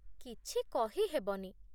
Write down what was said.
କିଛି କହିହେବନି।